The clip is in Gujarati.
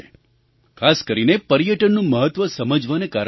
ખાસ કરીને પર્યટનનું મહત્ત્વ સમજવાના કારણે થયું છે